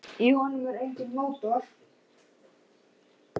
Í honum er enginn mótor.